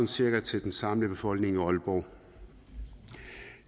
cirka til den samlede befolkning i aalborg